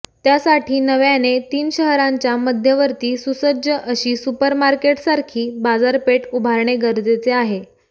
त्यासाठी नव्याने तीन शहरांच्या मध्यवर्ती सुसज्ज अशी सुपर मार्केटसारखी बाजारपेठ उभारणे गरजेचे आहे